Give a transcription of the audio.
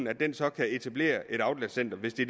at den så kan etablere et outletcenter hvis det